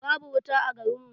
Babu wuta a garin mu.